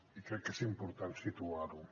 i crec que és important situar ho